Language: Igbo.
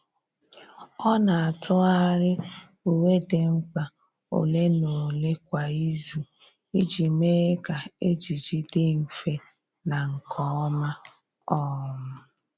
Ọ́ nà-átụ́gharị uwe dị mkpa ole na ole kwa ìzù iji mee kà ejiji dị mfe na nke ọma. um